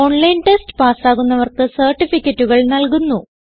online test പാസ്സാകുന്നവർക്ക് സർട്ടിഫികറ്റുകൾ നല്കുന്നു